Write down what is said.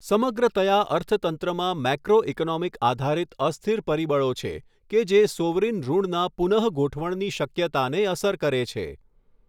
સમગ્રતયા અર્થતંત્રમાં મેક્રોઇકોનોમિક આધારિત અસ્થિર પરિબળો છે કે જે સોવરિન ઋણના પુનઃગોઠવણની શક્યતાને અસર કરે છે